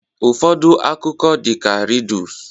Ụfọdụ akụkọ dị ka rịdus